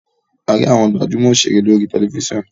a rí àwòn gbajúmò òṣèré lórí tẹlifísàn